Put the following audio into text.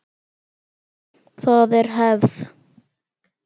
Það er hefð!